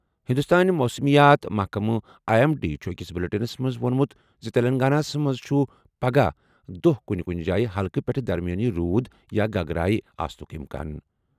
ہِنٛدوستٲنۍ موسمیات محکمہٕ آیی ایٚم ڈی چُھ أکِس بُلیٹِنس منٛز ووٚنمُت زِ تیٚلنٛگاناہس منٛز چُھ پَگہہ دۄہ کُنہِ کُنہِ جایہِ ہلکہٕ پیٚٹھٕ درمِیٲنی روٗد یا گگرایہِ آسنُک اِمکان